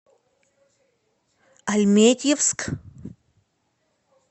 альметьевск